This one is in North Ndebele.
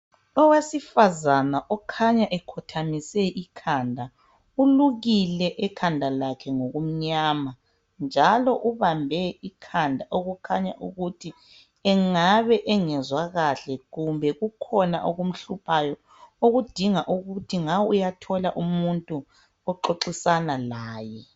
Owesifazana okhanya ekhothamise ikhanda ulukile ekhanda lakhe ngokumnyama njalo ubambe ikhanda okukhanya ukuthi engabe engezwa kahle kumbe kukhona okumhluphayo okudinga ukuthi nga uyathola umuntu oxoxisana laye